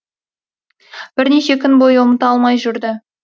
бірнеше күн бойы ұмыта алмай жүрді